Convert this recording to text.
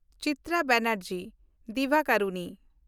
Chitra Banerjee Divakaruni